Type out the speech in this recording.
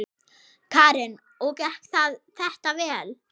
Karen: Og gekk þetta vel?